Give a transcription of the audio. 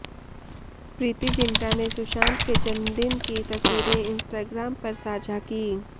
प्रीती जिंटा ने सुशांत के जन्मदिन की तस्वीरें इंस्टाग्राम पर साझा की